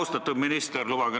Austatud minister!